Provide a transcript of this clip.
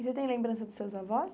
E você tem lembrança dos seus avós?